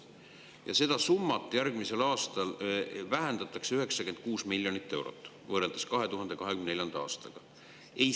Ja seda summat järgmisel aastal vähendatakse 96 miljonit eurot võrreldes 2024. aastaga.